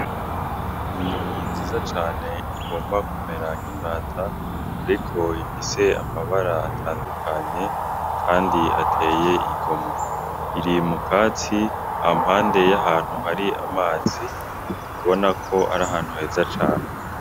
Ni inyoni nziza cane igomba kumera nk'imbata ariko ifise amabara atandukanye kandi ateye igomwe iri mukatsi ampande y'ahantu hari amazi ubonako ari ahantu heza cane.